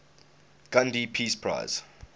gandhi peace prize